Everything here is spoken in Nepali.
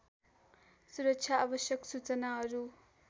सुरक्षा आवश्यक सूचनाहरू